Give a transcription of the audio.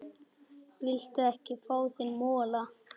Viltu ekki fá þér mola?